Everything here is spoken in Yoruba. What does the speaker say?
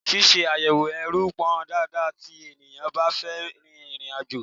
Ṣíṣe àyẹ̀wò ẹrù pọn dandan tí ènìyàn bá fẹ́ rin ìrìn àjò.